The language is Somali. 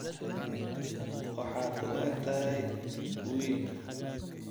Waxaad u egtahay wiil